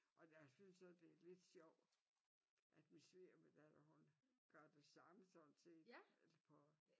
Og jeg synes også det er lidt sjovt at min svigerdatter hun gør det samme sådan set på